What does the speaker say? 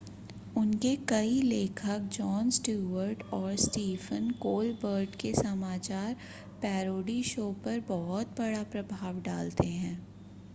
उनके कई लेखक जॉन स्टीवर्ट और स्टीफ़न कोलबर्ट के समाचार पैरोडी शो पर बहुत बड़ा प्रभाव डालते हैं